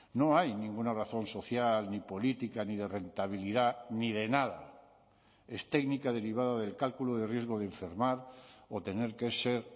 no hay ninguna razón social ni política ni de rentabilidad ni de nada es técnica derivada del cálculo de riesgo de enfermar o tener que ser